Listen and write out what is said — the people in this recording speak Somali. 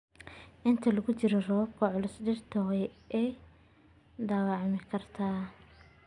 Inta lagu jiro roobabka culus, dhirta waa ay dhaawacmi kartaa.